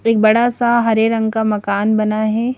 एक बड़ा सा हरे रंग का मकान बना है।